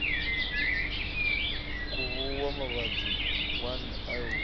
khuvhuwa mavhadzi mvun eo u